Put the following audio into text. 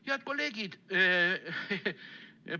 Head kolleegid!